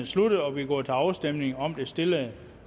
sluttet og vi går til afstemning om det stillede